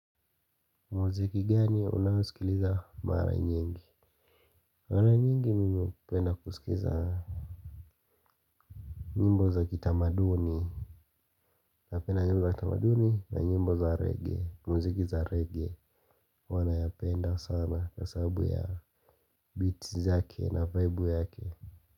Mziki gani unahusikiliza mara nyingi? Mara nyingi mimi upenda kusikiza nyimbo za kitamaduni. Napenda nyimbo za kitamaduni na nyimbo za reggae. Mziki za reggae huwa nayapenda sana kwasababu ya beats zake na vaibu yake.